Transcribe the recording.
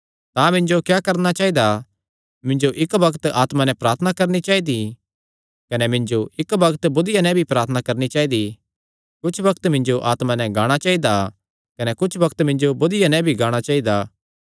तां मिन्जो क्या करणा चाइदा मिन्जो इक्क बग्त आत्मा नैं प्रार्थना करणी चाइदी कने मिन्जो इक्क बग्त बुद्धिया नैं भी प्रार्थना करणी चाइदी कुच्छ बग्त मिन्जो आत्मा नैं गाणा चाइदा कने कुच्छ बग्त मिन्जो बुद्धिया नैं भी गाणा चाइदा